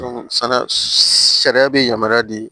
sariya be yamaruya di